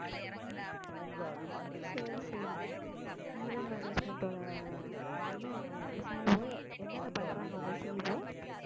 சரி சரி event management ஓட என்ன CEO என்னென்ன பண்றாங்க உங்க CEO